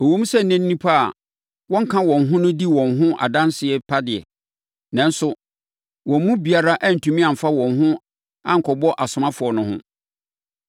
Ɛwom sɛ na nnipa a wɔnka wɔn ho no di wɔn ho adanseɛ pa de, nanso wɔn mu biara antumi amfa wɔn ho ankɔbɔ asomafoɔ no ho.